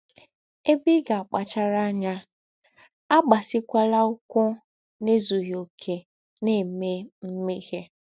Ebe ị ga - akpachara anya: Agbakwasịkwala ụkwụ n’ezụghị ọkè na - eme mmehie.